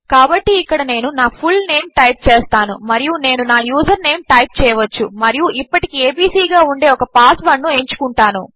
కాబట్టిఇక్కడనేనునా full name టైప్చేస్తానుమరియునేనునా username టైప్చేయవచ్చుమరియుఇప్పటికి ABC గాఉండేఒకపాస్వర్డ్నుఎంచుకుంటాను